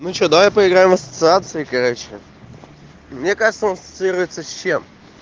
ну что давай поиграем ассоциации короче мне кажется он социирется с чем